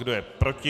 Kdo je proti?